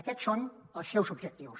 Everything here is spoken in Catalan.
aquests són els seus objectius